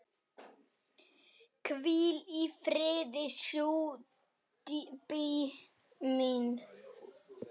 Hvíl í friði, stjúpi minn.